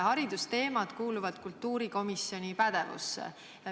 Haridusteemad kuuluvad kultuurikomisjoni pädevusse.